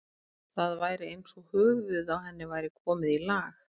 Það var eins og höfuðið á henni væri komið í lag.